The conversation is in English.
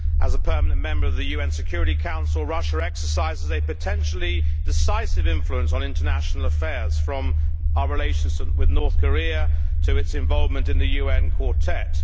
As a permanent member of the UN Security Council, Russia exercises a potentially decisive influence on international affairs, from our relations with North Korea to its involvement in the UN quartet.